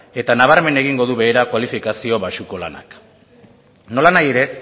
eta nabarmen egingo du behera kualifikazio baxuko lanak nolanahi ere